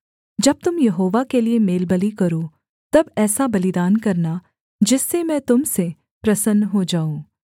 जब तुम यहोवा के लिये मेलबलि करो तब ऐसा बलिदान करना जिससे मैं तुम से प्रसन्न हो जाऊँ